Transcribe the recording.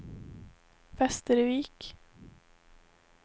Västervik